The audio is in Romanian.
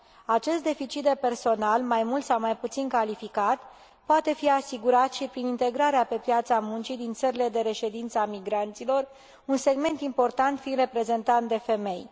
Acest deficit de personal, mai mult sau mai puțin calificat, poate fi asigurat și prin integrarea, pe piața muncii din țările de reședință, a migranților, un segment important fiind reprezentat de femei.